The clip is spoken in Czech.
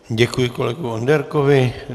Děkuji kolegovi Onderkovi.